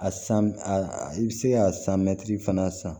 A san a bɛ se ka san mɛtiri fana san